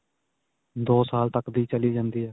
ਦੋ ਸਾਲ ਤੱਕ ਦੀ ਚਲੀ ਜਾਂਦੀ ਹੈ.